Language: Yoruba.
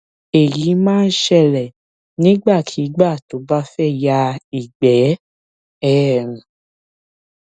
èyí máa ń ṣẹlẹ nígbàkigbà tó bá fẹ ya ìgbẹ um